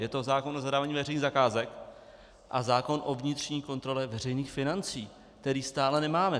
Je to zákon o zadávání veřejných zakázek a zákon o vnitřní kontrole veřejných financí, který stále nemáme.